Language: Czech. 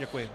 Děkuji.